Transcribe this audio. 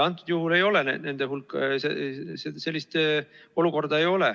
Praegusel juhul ei ole sellist olukorda.